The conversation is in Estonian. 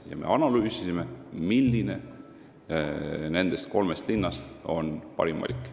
Ja meie analüüsisime, milline nendest kolmest linnast on parim valik.